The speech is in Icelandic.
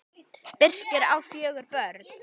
Birkir á fjögur börn.